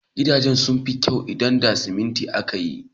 Gidaje sun fi kyau idan da siminti aka ti su.